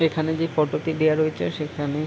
এইখানে যে ফটো -টি দেয়া রয়েছে সেখানে --